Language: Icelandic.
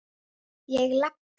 Ég labba.